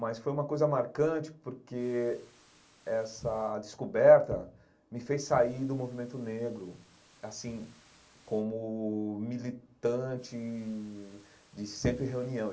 Mas foi uma coisa marcante porque essa descoberta me fez sair do movimento negro, assim, como militante de sempre reunião.